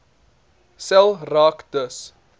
sel raak dus